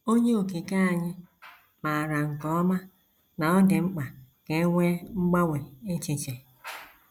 Onye Okike anyị maara nke ọma na ọ dị mkpa ka e nwee mgbanwe echiche.